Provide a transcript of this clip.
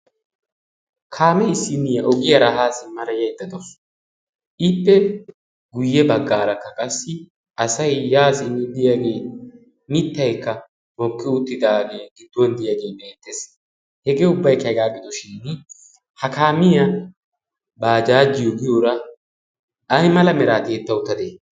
kaamei issinniiyaa oggiyaaraa haa simmara yaiddadousu. Iippe guyye baggaarakka qassi asai yaasin deyaagee mittaikka moqqi uuttidaagee gidduwan deyaagii beettees hegee ubbaikkaegaa gidoshin ha kaamiyaa baa jaajiyo giyoora ai mala miraatietta uttatde?